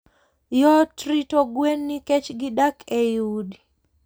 Yot rito gwen nikech gidak ei udi.